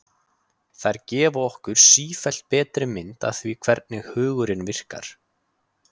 þær gefa okkur sífellt betri mynd af því hvernig hugurinn virkar